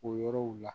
O yɔrɔw la